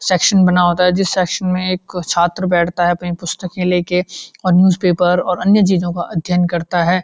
Section बना होता है जिस सेक्शन में एक अ छात्र बैठता है अपनी पुस्तके ले के और न्यूज पेपर और अन्य चीजों का अध्ययन करता है।